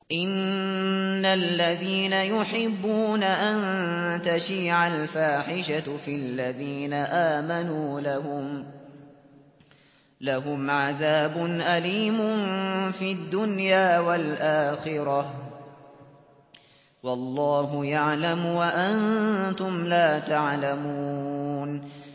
إِنَّ الَّذِينَ يُحِبُّونَ أَن تَشِيعَ الْفَاحِشَةُ فِي الَّذِينَ آمَنُوا لَهُمْ عَذَابٌ أَلِيمٌ فِي الدُّنْيَا وَالْآخِرَةِ ۚ وَاللَّهُ يَعْلَمُ وَأَنتُمْ لَا تَعْلَمُونَ